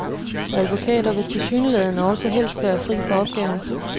Advokater vil tilsyneladende også helst være fri for opgaven.